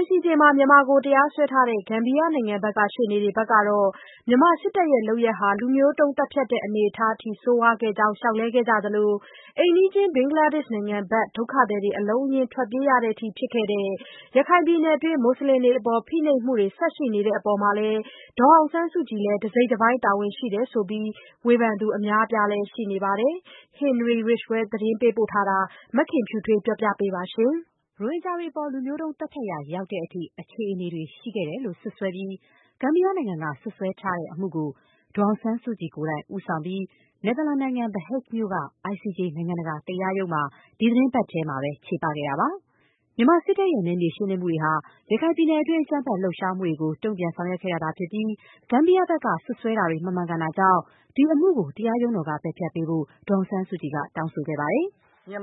ICJ မှာမြန်မာကိုတရားစွဲထားတဲ့ ဂမ်ဘီယာနိုင်ငံဘက်က ရှေ့နေတွေကတော့ မြန်မာစစ်တပ်ရဲ့လုပ်ရပ်ဟာ လူမျိုးတုံးသတ်ဖြတ်တဲ့အနေအထားအထိ ဆိုးရွားခဲ့ကြောင်း လျှောက်လဲခဲ့ကြသလို၊ အိမ်နီးချင်း ဘင်္ဂလားဒေ့ရှ်နိုင်ငံဘက် ဒုက္ခသည်တွေအလုံးအရင်း ထွက်ပြေးရတဲ့အထိဖြစ်ခဲ့တဲ့ ရခိုင်ပြည်နယ်တွင်း မွတ်ဆလင်တွေအပေါ် ဖိနှိပ်မှုတွေ ဆက်ရှိနေတဲ့အပေါ် ဒေါ်အောင်ဆန်းစုကြည်လည်း တစိတ်တပိုင်း တာဝန်ရှိတယ်ဆိုပြီး ဝေဖန်သူအများအပြားလည်း ရှိနေပါတယ်။ Henry Ridgwell ပေးပို့တဲ့သတင်းကို မခင်ဖြူထွေးက ပြောပြပေးပါမယ်။ ရိုဟင်ဂျာတွေအပေါ် လူမျိုးတုံးသတ်ဖြတ်ရာရောက်တဲ့အထိ အခြေအနေတွေရှိခဲ့တယ်လို့ စွပ်စွဲပြီး ဂမ်ဘီယာနိုင်ငံက စွပ်စွဲထားတဲ့အမှုကို ဒေါ်အောင်ဆန်းစုကြည်ကိုယ်တိုင် ဦးဆောင်ပြီး နယ်သာလန်နိုင်ငံ The Hague မြို့က ICJ နိုင်ငံတကာတရားရုံးမှာ ဒီသီတင်းပတ်ထဲ ချေပခဲ့တာပါ။ စစ်တပ်ရဲ့နယ်မြေရှင်းလင်းမှုတွေဟာ ရခိုင်ပြည်နယ်တွင်း အကြမ်းဖက်လှုပ်ရှားမှုတွေကို တုံ့ပြန်ဆောင်ရွက်ခဲ့တာသာ ဖြစ်ပြီး ဂမ်ဘီယာဘက်က စွပ်စွဲတာတွေ မမှန်ကန်တာကြောင့် ဒီအမှုကို တရားရုံးတော်က ပယ်ဖျက်ပေးဖို့ ဒေါ်အောင်ဆန်းစုကြည်က ပြောဆိုခဲ့ ပါတယ်။ "ဒီအ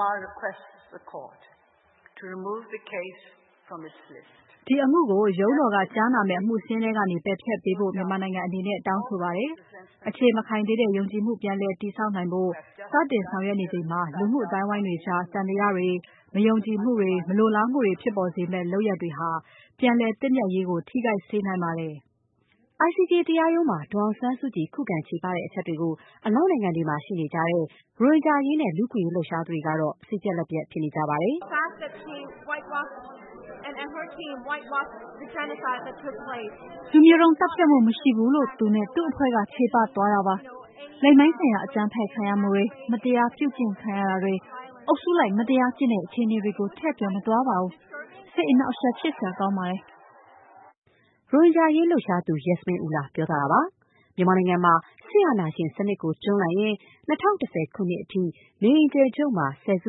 မှုကို ရုံးတော်ကကြားနာမယ့် အမှုစာရင်းထဲကနေ ပယ်ဖျက်ပေးဖို့ မြန်မာနိုင်ငံအနေနဲ့ တောင်းဆိုပါတယ်။ အခြေမခိုင်သေးတဲ့ ယုံကြည်မှု ပြန်လည်တည်ဆောက်နိုင်ဖို့ စတင်ဆောင်ရွက်နေချိန်မှာ လူမှုအသိုင်းအဝိုင်းတွေကြား သံသယတွေ၊ မယုံကြည်မှုတွေ၊ မလိုလားမှုတွေ ဖြစ်ပေါ်စေမယ့် လုပ်ရပ်တွေဟာ ပြန်လည်သင့်မြတ်ရေးကို ထိခိုက်စေနိုင်ပါတယ်။” ICJ တရားရုံးမှာ ဒေါ်အောင်ဆန်းစုကြည် ခုခံ ချေပခဲ့တဲ့အချက်တွေကို အနောက်နိုင်ငံတွေမှာရှိတဲ့ ရိုဟင်ဂျာအရေးနဲ့ လူ့အခွင့်အရေး လှုပ်ရှားသူတွေကတော့ စိတ်ပျက်လက်ပျက်ဖြစ်နေကြပါတယ်။ "လူမျိုးတုံးသတ်ဖြတ်မှု မရှိဘူးလို့ သူနဲ့ သူ့အဖွဲ့က ချေပသွားတာပါ။ လိင်ပိုင်းဆိုင်ရာ အကြမ်းဖက် ခံရမှုတွေ၊ မတရားပြုကျင့်ခံရတာတွေ၊ အုပ်စုလိုက် မတရားကျင့်တဲ့ အခြေအနေတွေကို ထည့်ပြောမသွားပါဘူး။ စိတ်အနှောက်အယှက်ဖြစ်စရာ ကောင်းပါတယ်။” ရိုဟင်ဂျာအခွင့်အရေးလှုပ်ရှားသူ Yasmin Ullah ပြောသွားတာပါ။ မြန်မာနိုင်ငံမှာ စစ်အာဏာရှင်စနစ်ကို တွန်းလှန်ရင်း ၂၀၁၀ ခုနှစ်အထိ နေအိမ်အကျယ်ချုပ်မှာ ဆယ်စု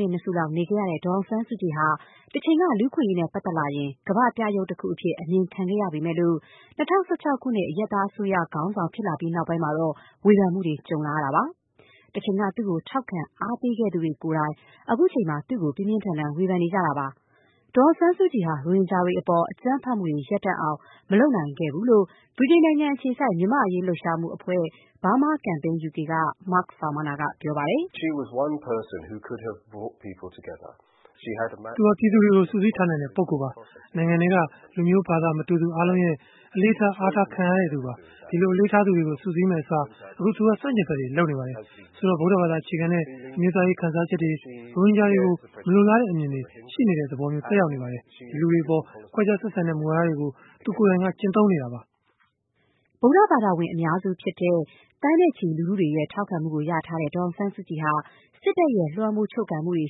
နှစ် ၂ စုလောက် နေခဲ့ရတဲ့ ဒေါ်အောင်ဆန်းစုကြည်ဟာ တချိန်က လူ့အခွင့်အရေးနဲ့ ပတ်သက်လာရင် ကမ္ဘာ့ပြယုဂ်တခုအဖြစ် အမြင်ခံခဲ့ရပေမဲ့၊ ၂၀၁၆ ခုနှစ် အရပ်သားအစိုးရ ခေါင်းဆောင် ဖြစ်လာပြီးနောက်ပိုင်းမှာတော့ ဝေဖန်မှုတွေ ကြုံလာရပါတယ်။ တချိန်က သူ့ကိုထောက်ခံအားပေးခဲ့သူတွေကိုယ်တိုင် အခုချိန်မှာ သူ့ကို ပြင်းပြင်းထန်ထန် ဝေဖန်နေကြတာပါ။ ဒေါ်အောင်ဆန်းစုကြည်ဟာ ရိုဟင်ဂျာအပေါ် အကြမ်းဖက်မှုတွေ ရပ်တန့်အောင် မလုပ်နိုင်ခဲ့ကြောင်း ဗြိတိန်နိုင်ငံအခြေစိုက် မြန်မာ့အရေးလှုပ်ရှားမှုအဖွဲ့ Burma Campaign UK က Mark Farmaner က ပြောပါတယ်။ “သူဟာ ပြည်သူတွေကို စုစည်းထားနိုင်တဲ့ ပုဂ္ဂိုလ်ပါ။ နိုင်ငံတွင်းက လူမျိုး ဘာသာ မတူသူ အားလုံးရဲ့ အလေးထား အားထားခံထားရသူပါ။ ဒီလိုအလေးထားသူတွေကို စုစည်းမယ့်အစား အခု သူက ဆန့်ကျင်ဘက်တွေ လုပ်နေပါတယ်။ ဆိုတော့ ဗုဒ္ဓဘာသာအခြေခံတဲ့ အမျိုးသားရေး ခံစားချက်တွေ၊ ရိုဟင်ဂျာတွေကို မလိုလားတဲ့အမြင်တွေ ရှိနေတဲ့သဘော ဖြစ်နေပါတယ်။ ဒီလူတွေအပေါ် ခွဲခြားဆက်ဆံတဲ့မူဝါဒတွေကို သူကိုယ်တိုင် ကျင့်သုံးနေတာပါ။” ဗုဒ္ဓဘာသာဝင် အများစုဖြစ်တဲ့ သန်းနဲ့ချီလူထုတွေရဲ့ ထောက်ခံမှုရထားတဲ့ ဒေါ်အောင်ဆန်းစုကြည်ဟာ စစ်တပ်ရဲ့ လွှမ်းမိုးချုပ်ကိုင်မှုတွေ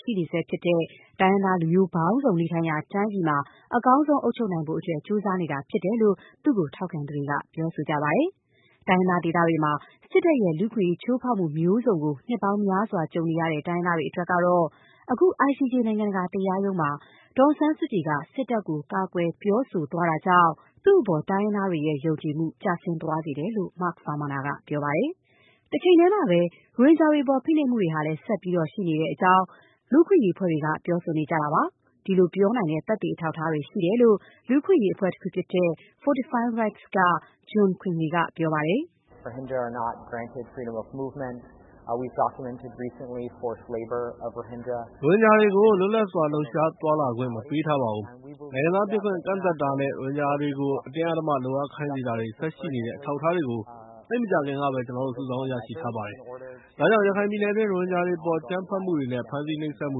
ရှိနေဆဲဖြစ်တဲ့၊ တိုင်းရင်းသားလူမျိုးပေါင်းစုံ နေထိုင်ရာတိုင်းပြည်မှာ အကောင်းဆုံးအုပ်ချုပ်နိုင်အောင် ကြိုးစားနေတာဖြစ်တယ်လို့ သူ့ကို ထောက်ခံသူတွေက ပြောဆိုကြပါတယ်။ တိုင်းရင်းသားဒေသတွေမှာ စစ်တပ်ရဲ့ လူ့အခွင့်အရေးချိုးဖောက်မှုမျိုးစုံကို နှစ်ပေါင်းများစွာ ကြုံနေရတဲ့ တိုင်းရင်းသားတွေ အတွက်ကတော့ အခု ICJ နိုင်ငံတကာတရားရုံးမှာ ဒေါ်အောင်ဆန်းစုကြည်က စစ်တပ်ကို ကာကွယ်ပြောဆိုသွားတာကြောင့် သူ့အပေါ် တိုင်းရင်းသားတွေရဲ့ ယုံကြည်မှု ကျဆင်းသွားစေတယ်လို့ Mark Farmaner ကပြောပါတယ်။ တချိန်တည်းမှာပဲ ရိုဟင်ဂျာတွေအပေါ် ဖိနှိပ်မှုတွေဟာလည်း ဆက်ပြီး ဖြစ်နေတဲ့အကြောင်း လူ့အခွင့်အရေးအဖွဲ့တွေက ပြောဆိုကြပါတယ်။ ဒီလိုပြောနိုင်တဲ့ သက်သေအထောက်အထားတွေ ရှိတဲ့အကြောင်း လူ့အခွင့်အရေးအဖွဲ့တခုဖြစ်တဲ့ Fortify Rights က John Quinley III ပြောပါတယ်။ “ရိုဟင်ဂျာတွေကို လွတ်လပ်စွာ လှုပ်ရှားသွားလာခွင့် မပေးထားပါဘူး။ နိုင်ငံသားဖြစ်ခွင့် ကန့်သတ်တာနဲ့ ရိုဟင်ဂျာတွေကို အတင်းအဓမ္မ လုပ်အားခိုင်းစေတာတွေ ဆက်ရှိနေတဲ့ အထောက်အထားတွေကို သိပ်မကြာခင်ကပဲ ကျနော်တို့ စုဆောင်းရရှိထားပါတယ်။ ဒါကြောင့် ရခိုင်ပြည်နယ်တွင် ရိုဟင်ဂျာတွေအပေါ် အကြမ်းဖက်မှုတွေနဲ့ ဖမ်းဆီးနှိပ်စက်မှု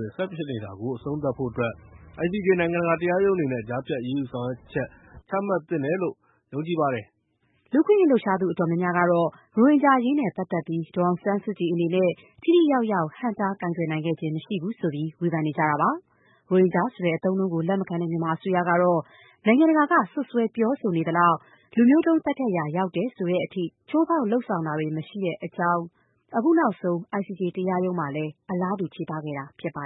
တွေ ဆက်ဖြစ်နေတာကို အဆုံးသတ်ဖို့အတွက် ICJ နိုင်ငံတကာ တရားရုံးအနေနဲ့ ကြားဖြတ် အရေးယူဆောင်ရွက်ချက် ချမှတ်သင့်တယ်လို့ ယုံကြည်ပါတယ်။” လူ့အခွင့်အရေးလှုပ်ရှားသူ အတော်များများကတော့ ရိုဟင်ဂျာအရေးနဲ့ပတ်သက်ပြီး ဒေါ်အောင်ဆန်းစုကြည် အနေနဲ့ ထိထိရောက်ရောက် ဟန့်တား ဆောင်ရွက်နိုင်ခဲ့ခြင်း မရှိဘူးဆိုပြီး ဝေဖန်နေကြတာပါ။ ရိုဟင်ဂျာဆိုတဲ့အသုံးအနှုန်းကို လက်မခံတဲ့ မြန်မာအစိုးရကတော့ နိုင်ငံတကာက စွပ်စွဲပြောဆိုနေသလောက် လူမျိုးတုံးသတ်ဖြတ်ရာ ရောက်တယ်ဆိုတဲ့အထိ ချိုးဖောက် လုပ်ဆောင်မှုတွေ မရှိတဲ့အကြောင်း၊ အခုနောက်ဆုံး ICJ တရားရုံးမှာလည်း အလားတူ ချေပခဲ့တာဖြစ်ပါ